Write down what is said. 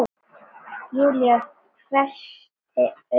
Júlía hvessti augun á Lenu.